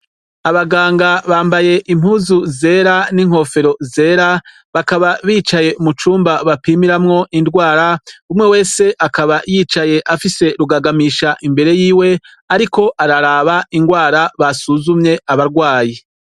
Abaganga bambaye impuzu zera n'inkofero zera bakaba bicaye mucumba bapimiramwo indwara, umwe wese akaba yicaye afise rugagamisha imbere yiwe, ariko araraba irwara basuzumye abarwayi.